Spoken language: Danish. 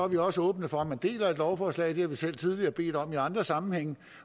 vi også åbne for at man deler lovforslaget det har vi selv tidligere bedt om i andre sammenhænge